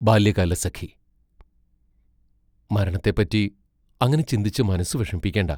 ബാല്യകാലസഖി മരണത്തെപ്പറ്റി അങ്ങനെ ചിന്തിച്ചു മനസ്സു വിഷമിപ്പിക്കേണ്ട.